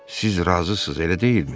Siz razısız, elə deyilmi?